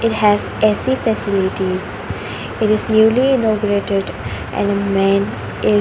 it has A_C facilities it is newly inaugurated and a men is --